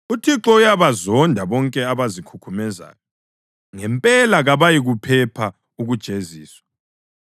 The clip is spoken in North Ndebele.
UThixo uyabazonda bonke abazikhukhumezayo. Ngempela kabayikuphepha ukujeziswa.